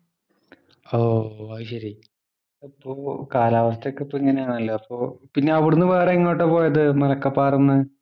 ഓ, അതുശരി. അപ്പൊ കാലാവസ്ഥയൊക്കെ ഇപ്പോ ഇങ്ങനെയാണല്ലോ അപ്പൊ. പിന്നെ അവിടുന്ന് വേറെ എങ്ങോട്ടാ പോയത് മലക്കപ്പാറേന്ന്.